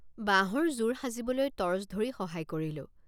বাঁহৰ জোৰ সাজিবলৈ টৰ্চ ধৰি সহায় কৰিলোঁ।